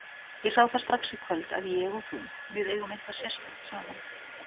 Ég sá það strax í kvöld að ég og þú, við eigum eitthvað sérstakt saman.